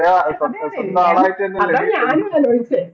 yes അതെ അതെ അതാ ഞാനും